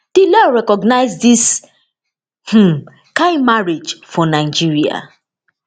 di law recognise dis um kain marriage for nigeria